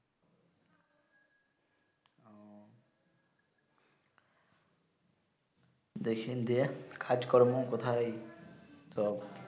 দেখিন দে কাজ কর্ম কোথায় তো